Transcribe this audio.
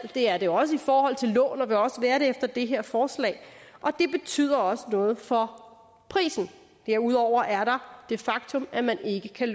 det er det også i forhold til lån og vil også være det efter det her forslag og det betyder også noget for prisen derudover er der det faktum at man ikke kan